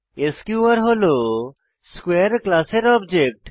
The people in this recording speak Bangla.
এসকিউআর হল স্কোয়ারে ক্লাসের অবজেক্ট